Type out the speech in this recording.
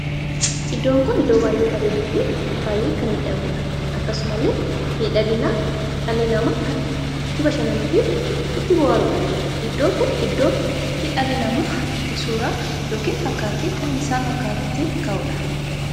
Iddoo kun iddoo baay'ee bareeduu fi baay'ee kan miidhaguudha. akkasumallee miidhaginaaf dhalli namaa itti bashannanu fi itti booharudha. iddoo kun iddoo itti dhalli namaa itti suuraa ykn fakkaattii isaa kan fakkaatu ittiin ka'uudha.